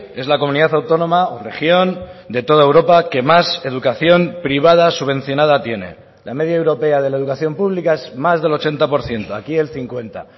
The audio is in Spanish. es la comunidad autónoma o región de toda europa que más educación privada subvencionada tiene la media europea de la educación pública es más del ochenta por ciento aquí el cincuenta